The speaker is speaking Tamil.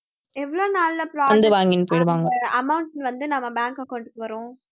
எவ்வளவு நாள்ல process அந்த amount வந்து நம்ம bank account க்கு வரும்